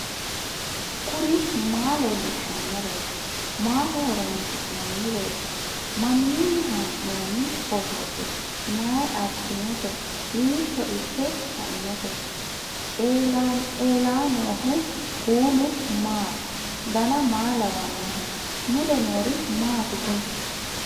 kuri maa leellishannoreeti maaho horoonsi'noonnireeti mamiinni haa'noonni phootooti mayi abbinoote hiito ikke kainote ellannohu kuulu maati dan maa lawannoho mule noori maati kuni